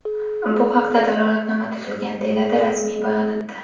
Bu haqda dalolatnoma tuzilgan”, deyiladi rasmiy bayonotda.